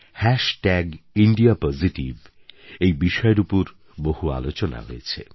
হ্যাস tag India positive এই বিষয়ের উপর বহু আলোচনা হয়েছে